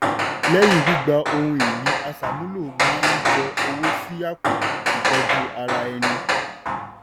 lẹ́yìn gbígba ohun ìní aṣàmúlò máa yọ owó sí àpò ìtọ́jú ara ẹni.